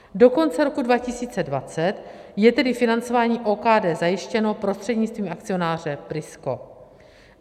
Do konce roku 2020 je tedy financování OKD zajištěno prostřednictvím akcionáře Prisko.